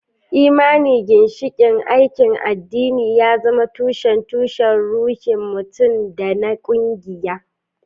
Belief, the cornerstone of religious practice, serves as the basis for both personal and group spirituality.